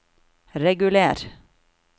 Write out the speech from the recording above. reguler